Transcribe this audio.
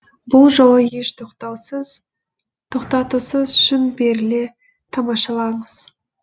бұл жолы еш тоқтатусыз шын беріле тамашалаңыз